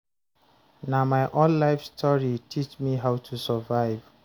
Na my own life story teach me how to survive.